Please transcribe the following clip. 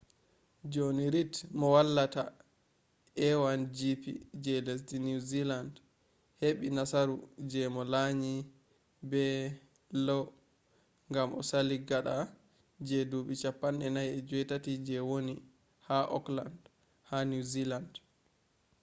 joni rid mo wallata lanyo a1gp je lesdi niwziland heɓɓi nasaru je mo lanyi be low ngam o sali gaɗa je duuɓi 48 je woni ha okland ha niwziland